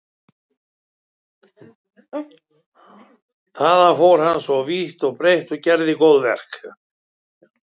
Þaðan fór hann svo vítt og breitt og gerði góðverk.